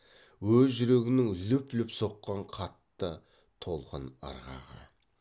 өз жүрегінің лүп лүп соққан қатты толқын ырғағы